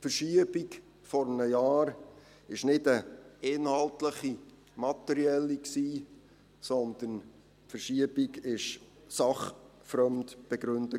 Die Verschiebung vor einem Jahr war keine inhaltlich-materielle Verschiebung, sondern sie war sachfremd begründet.